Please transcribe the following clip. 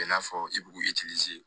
I n'a fɔ i b'u